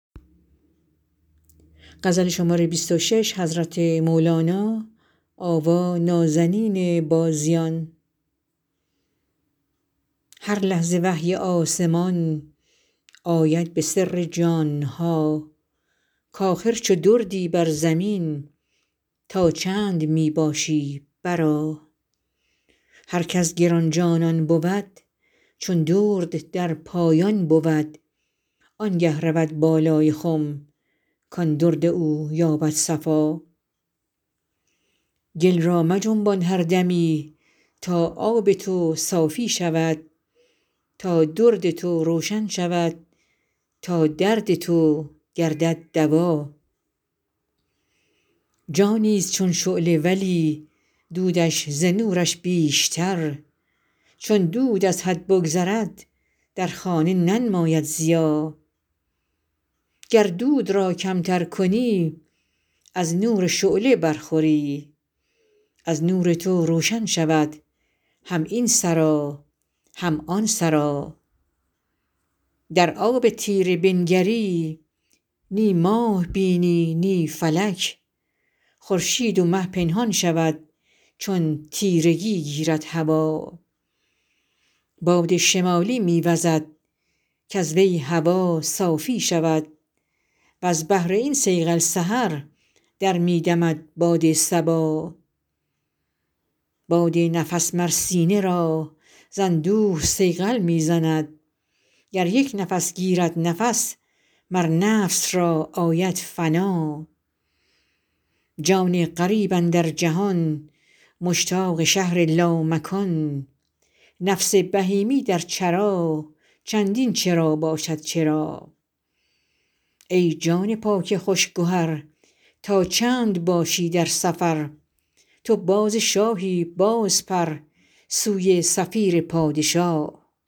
هر لحظه وحی آسمان آید به سر جان ها کاخر چو دردی بر زمین تا چند می باشی برآ هر کز گران جانان بود چون درد در پایان بود آنگه رود بالای خم کان درد او یابد صفا گل را مجنبان هر دمی تا آب تو صافی شود تا درد تو روشن شود تا درد تو گردد دوا جانیست چون شعله ولی دودش ز نورش بیشتر چون دود از حد بگذرد در خانه ننماید ضیا گر دود را کمتر کنی از نور شعله برخوری از نور تو روشن شود هم این سرا هم آن سرا در آب تیره بنگری نی ماه بینی نی فلک خورشید و مه پنهان شود چون تیرگی گیرد هوا باد شمالی می وزد کز وی هوا صافی شود وز بهر این صیقل سحر در می دمد باد صبا باد نفس مر سینه را ز اندوه صیقل می زند گر یک نفس گیرد نفس مر نفس را آید فنا جان غریب اندر جهان مشتاق شهر لامکان نفس بهیمی در چرا چندین چرا باشد چرا ای جان پاک خوش گهر تا چند باشی در سفر تو باز شاهی بازپر سوی صفیر پادشا